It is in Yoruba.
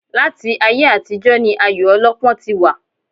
Láti ayé àtijọ́ ni ayò ọlọ́pọ́ ti wà